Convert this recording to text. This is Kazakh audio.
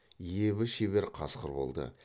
ебі шебер қасқыр болды